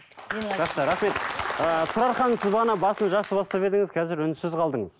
жақсы рахмет ыыы тұрар ханым сіз бағана басын жақсы бастап едіңіз қазір үнсіз қалдыңыз